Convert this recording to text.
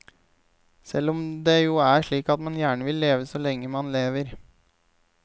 Selv om det jo er slik at man gjerne vil leve så lenge man lever.